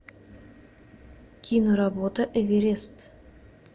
киноработа эверест